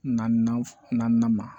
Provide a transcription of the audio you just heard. Naaninan ma